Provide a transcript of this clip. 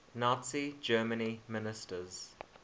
nazi germany ministers